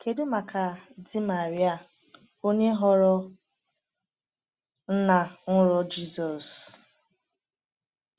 Kedu maka di Maria, onye ghọrọ nna nrọ Jizọs?